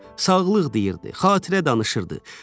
Sağlıq deyirdi, xatirə danışırdı.